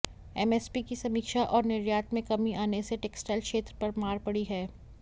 MSP की समीक्षा और निर्यात में कमी आने से टेक्सटाइल क्षेत्र पर मार पड़ी है